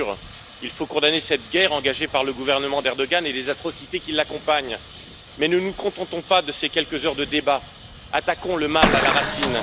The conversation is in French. Bien sûr, il faut condamner cette guerre engagée par le gouvernement de M. Erdogan et les atrocités qui l'accompagnent, mais ne nous contentons pas de ces quelques heures de débat, attaquons le mal à la racine.